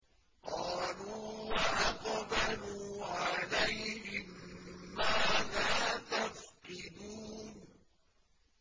قَالُوا وَأَقْبَلُوا عَلَيْهِم مَّاذَا تَفْقِدُونَ